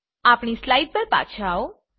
આપણી સ્લાઈડ્સ ઉપર પાછા આવો